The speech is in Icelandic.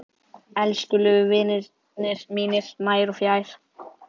Elskulegu vinirnir mínir nær og fjær